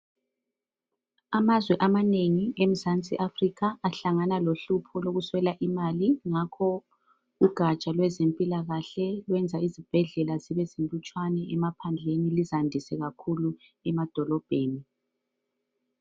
Amazwe amanengi emzansi Africa ahlangana lohlupho lokuswela imali ngakho ugaja lwezempilakahle lwenza izibhedlela zibe zilutshwane emaphandleni, lizandise kakhulu emadolobheni.